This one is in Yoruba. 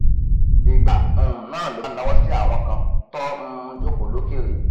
ìgbà um náà ló bá nawọ sí àwọn kan tọn um jòkó lókèrè